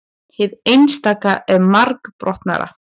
hið einstaka er margbrotnara